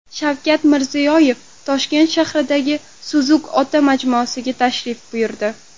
Shavkat Mirziyoyev Toshkent shahridagi Suzuk ota majmuasiga tashrif buyurdi .